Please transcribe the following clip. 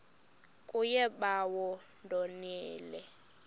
kuye bawo ndonile